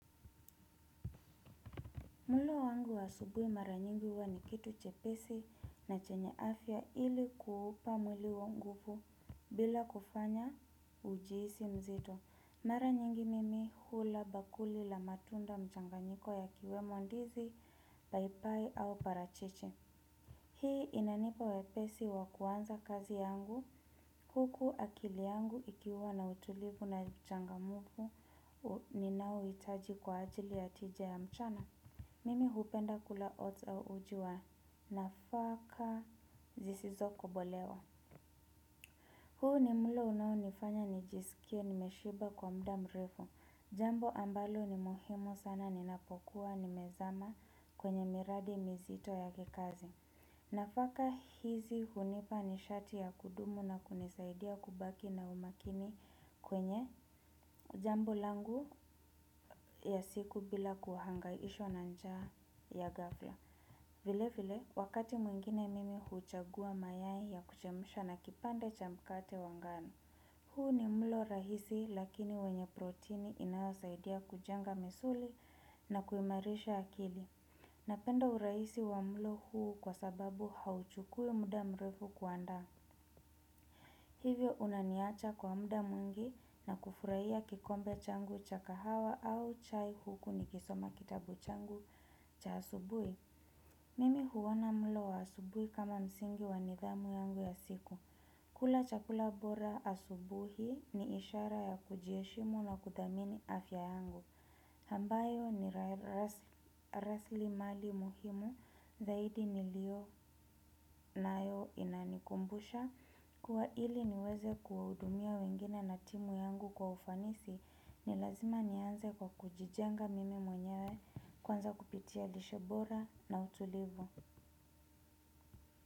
Mlo wangu wa asubuhi mara nyingi huwa ni kitu chepesi na chenye afya ili kuupa mwili wangu nguvu bila kufanya ujihisi mzito. Mara nyingi mimi hula bakuli la matunda, mchanganyiko yakiwemo ndizi, paipai au parachichi. Hii inanipa wepesi wa kuanza kazi yangu, huku akili yangu ikiwa na utulivu na uchangamfu ninaouhitaji kwa ajili ya tija ya mchana. Mimi hupenda kula oats au uji wa nafaka zisizo kobolewa. Huu ni mlo unaonifanya nijisikie nimeshiba kwa muda mrefu. Jambo ambalo ni muhimu sana ninapokuwa nimezama kwenye miradi mizito ya kikazi. Nafaka hizi hunipa nishati ya kudumu na kunisaidia kubaki na umakini kwenye jambo langu ya siku bila kuhangaishwa na njaa ya ghafla. Vilevile, wakati mwingine mimi huchagua mayai ya kuchemsha na kipande cha mkate wa ngano. Huu ni mlo rahisi lakini wenye protini inayosaidia kujenga misuli na kuimarisha akili. Napenda urahisi wa mlo huu kwa sababu hauchukui muda mrefu kuandaa. Hivyo unaniacha kwa muda mwingi na kufurahia kikombe changu cha kahawa au chai huku nikisoma kitabu changu cha asubuhi. Mimi huona mlo wa asubuhi kama msingi wa nidhamu yangu ya siku. Kula chakula bora asubuhi ni ishara ya kujiheshimu na kuthamini afya yangu. Ambayo ni rasilimali muhimu zaidi nilio nayo, inanikumbusha. Kuwa ili niweze kuwahudumia wengine na timu yangu kwa ufanisi ni lazima nianze kwa kujijenga mimi mwenyewe kwanza kupitia lishe bora na utulivu.